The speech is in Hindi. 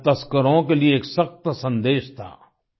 यह तस्करों के लिए एक सख्त सन्देश था